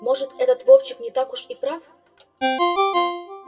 может этот вовчик не так уж и не прав